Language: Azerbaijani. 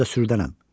Özüm də sürdərəm.